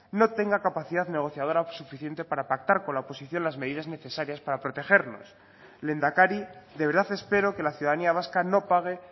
no tenga capacidad negociadora suficiente para pactar con la oposición las medidas necesarias para protegernos lehendakari de verdad espero que la ciudadanía vasca no pague